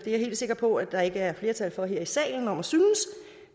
helt sikker på at der ikke er flertal her i salen om at synes